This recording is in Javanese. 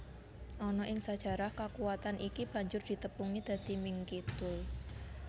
Ana ing sajarah kakuwatan iki banjur ditepungi dadi Ming Kidul